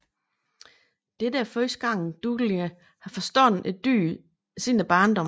Dette er første gang Dolittle har forstået et dyr siden barndommen